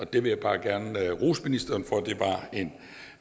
det vil jeg bare gerne rose ministeren